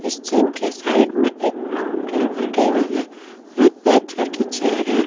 इस जिम के साइड में एक ब्राउन कलर का टेबल है और एक ब्लैक कलर की चेयर है।